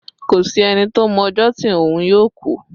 Kò sí ẹni tó mọ ọjọ́ tí òun yóò ku